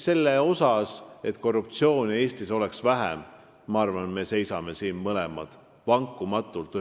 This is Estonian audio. Selle eest, et korruptsiooni oleks Eestis vähem, ma arvan, me seisame mõlemad vankumatult.